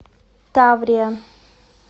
таврия